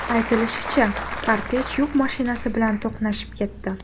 Aytilishicha, kortej yuk mashinasi bilan to‘qnashib ketdi.